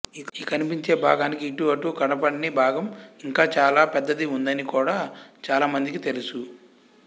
ఈ కనిపించే భాగానికి ఇటూ అటూ కనపడని భాగం ఇంకా చాలా పెద్దది ఉందని కూడా చాల మందికి తెలుసు